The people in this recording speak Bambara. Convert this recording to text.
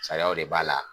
Sariyaw de b'a la